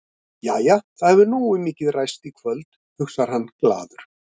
Jæja, það hefur nógu mikið ræst í kvöld, hugsar hann glaður.